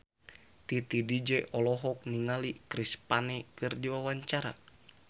Titi DJ olohok ningali Chris Pane keur diwawancara